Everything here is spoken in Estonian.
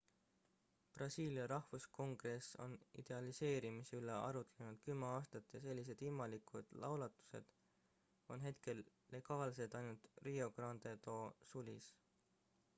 brasiilia rahvuskongress on legaliseerimise üle arutlenud 10 aastat ja sellised ilmalikud laulatused on hetkel legaalsed ainult rio grande do sulis